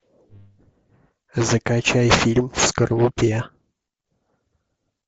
закачай фильм в скорлупе